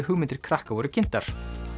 hugmyndir krakka voru kynntar